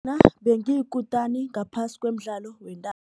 bengiyikutani ngaphasi komdlalo